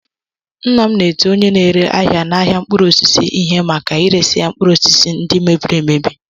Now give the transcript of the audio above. Nna m na-eti onye na-ere ahịa n'ahịa mkpụrụ osisi ihe maka iresị ya mkpụrụ osisi ndị mebiri emebi.